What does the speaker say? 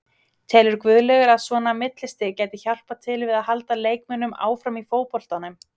Telur Guðlaugur að svona millistig gæti hjálpað til við að halda leikmönnum áfram í fótboltanum?